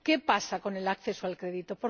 ¿Qué pasa con el acceso al crédito?